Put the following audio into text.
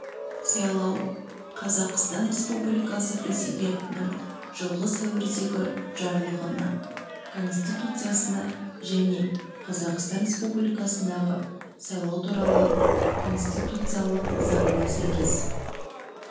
сайлау қазақстан республикасы президентінің жылғы сәуірдегі жарлығына конституциясына және қазақстан республикасындағы сайлау туралы конституциялық заңына сәйкес